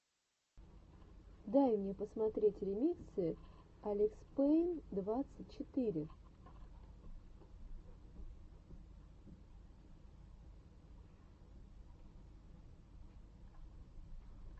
дай мне посмотреть ремиксы алекспэйн двадцать четыре